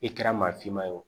I kɛra maa finman ye o.